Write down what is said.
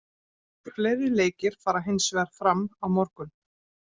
Fleiri leikir fara hinsvegar fram á morgun.